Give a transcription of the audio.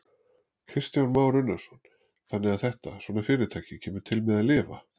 Kristján Már Unnarsson: Þannig að þetta, svona fyrirtæki kemur til með að lifa?